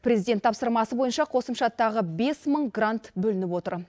президент тапсырмасы бойынша қосымша тағы бес мың грант бөлініп отыр